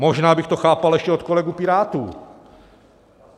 Možná bych to chápal ještě od kolegů Pirátů.